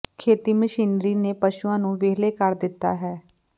ਖੇਤੀ ਮਸ਼ੀਨਰੀ ਨੇ ਪਸ਼ੂਆਂ ਨੂੰ ਵਿਹਲੇ ਕਰ ਦਿੱਤਾ ਹੈ